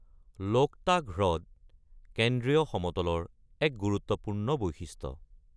লোকতাক হ্ৰদ কেন্দ্ৰীয় সমতলৰ এক গুৰুত্বপূৰ্ণ বৈশিষ্ট্য।